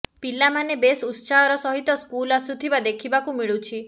ପିଲାମାନେ ବେଶ ଉତ୍ସାହର ସହିତ ସ୍କୁଲ ଆସୁଥିବା ଦେଖିବାକୁ ମିଳୁଛି